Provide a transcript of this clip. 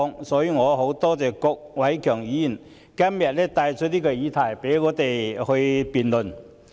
因此，我很多謝郭偉强議員今天帶出這個議題，讓我們可以進行辯論。